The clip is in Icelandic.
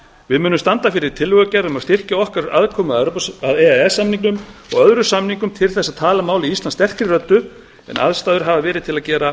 við munum standa fyrir tillögugerð um að styrkja okkar aðkomu að e e s samningnum og öðrum samningum til að tala máli íslands sterkari röddu en aðstæður hafa